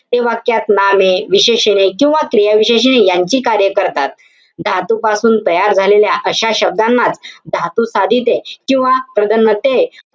ते वाक्यात नामे, विशेषणे किंवा क्रियाविशेषणे यांची कार्य करतात. धातूपासून तयार झालेल्या, अशा शब्दांनाच, धातुसाधिते किंवा